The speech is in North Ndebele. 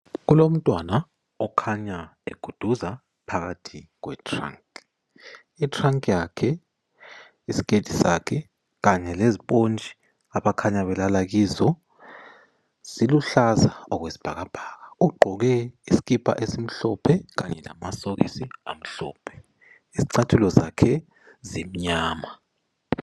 Kulomntwan okhanya eguduza phakathi kwe trunk, itrunk yakhe ,iskirt sakhe kanye leziphontshi abakhanya belala kizo ziluhlaza okwesibhakabhaka . Ugqoke isikhipha esimhlophe kanye lamasokisi amhlophe izicathulo zakhe zimnyama.